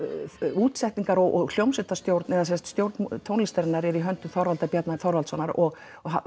útsetning og hljómsveitarstjórn er í höndum Þorvaldar Bjarna Þorvaldssonar og